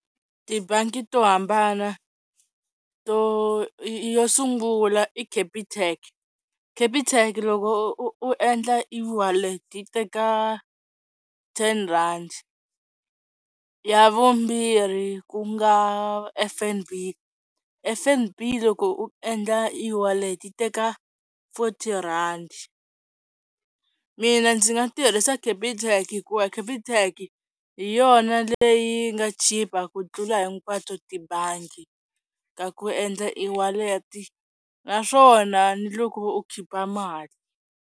Tibangi to hambana to yo sungula i Capitec, Capitec loko u endla e-wallet yi teka ten rand ya vumbirhi ku nga F_N_B, F_N_B loko u endla iwalete yi teka forty-rand mina ndzi nga tirhisa ka Capitec hikuva Capitec hi yona leyi nga chipa ku tlula hinkwato tibangi ka ku endla iwalete naswona ni loko u khipa mali.